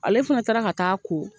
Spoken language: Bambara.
Ale fana taara ka taa a ko.